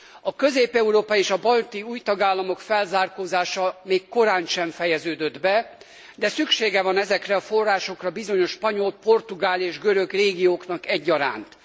A közép európai és a balti új tagállamok felzárkózása még korántsem fejeződött be, de szüksége van ezekre a forrásokra bizonyos spanyol, portugál és görög régióknak egyaránt.